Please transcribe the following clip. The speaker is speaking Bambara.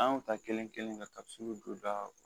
An y'o ta kelen kelen kɛ ka segu dondaw